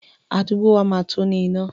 Àdúgbò wa máa tó ní iná.